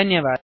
धन्यवाद